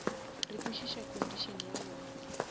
re kwešiša condition ya bona